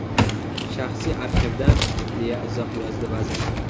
Shaxsiy arxivdan”, deya izoh yozdi vazir.